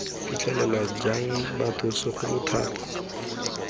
fitlhelelwa jang batho segolo thata